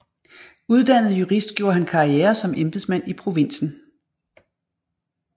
Uddannet jurist gjorde han karriere som embedsmand i provinsen